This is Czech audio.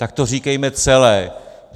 Tak to říkejme celé!